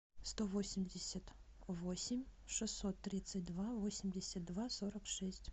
сто восемьдесят восемь шестьсот тридцать два восемьдесят два сорок шесть